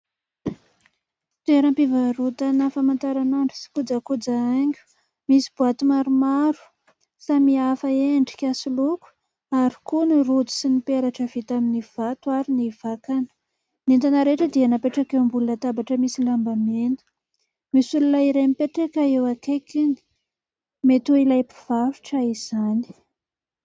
Toeram-pivarotana famataranandro sy kojakoja haingo. Misy boaty maromaro samy hafa endrika sy loko ary koa ny rojo sy ny peratra vita amin'ny vato ary ny vakana. Ny entana rehetra dia napetraka eo ambony latabatra misy lamba mena. Misy olona iray mipetraka eo akaikiny, mety ho ilay mpivarotra izany.